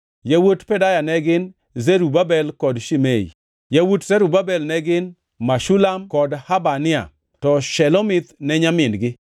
Yawuot Pedaya ne gin: Zerubabel kod Shimei. Yawuot Zerubabel ne gin: Meshulam kod Hanania, to Shelomith ne nyamin-gi.